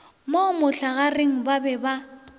mo mohlagareng ba be ba